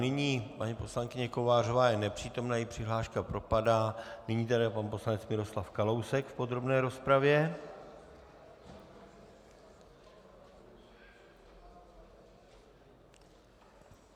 Nyní paní poslankyně Kovářová je nepřítomná, její přihláška propadá, nyní tedy pan poslanec Miroslav Kalousek v podrobné rozpravě.